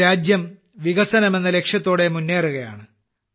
ഇന്ന് രാജ്യം വികസനം എന്ന ലക്ഷ്യത്തോടെ മുന്നേറുകയാണ്